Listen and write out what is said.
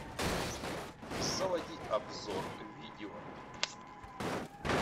заводи обзор видео